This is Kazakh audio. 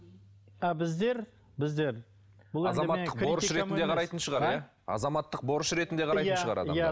а біздер біздер азаматтық борыш ретінде қарайтын шығар а азаматтық борыш ретінде қарайтын шығар адамдар